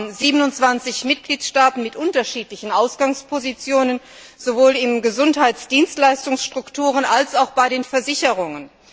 Wir haben 27 Mitgliedstaaten mit unterschiedlichen Ausgangspositionen sowohl bei den Gesundheitsdienstleistungsstrukturen als auch bei den Versicherungen.